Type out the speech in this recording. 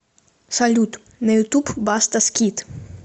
салют на ютуб баста скит